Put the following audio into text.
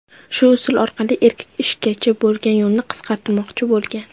Shu usul orqali erkak ishgacha bo‘lgan yo‘lini qisqartirmoqchi bo‘lgan.